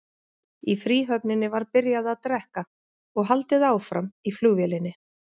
Í fríhöfninni var byrjað að drekka og haldið áfram í flugvélinni.